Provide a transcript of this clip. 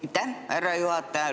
Aitäh, härra juhataja!